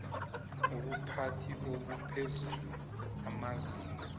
ubuphathi obuphezulu amazinga